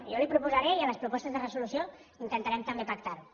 jo li ho proposaré i a les propostes de resolució intentarem també pactar ho